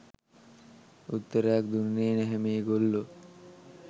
උත්තරයක් දුන්නෙ නැහැ මේගොල්ලෝ.